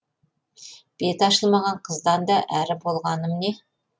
беті ашылмаған қыздан да әрі болмағым не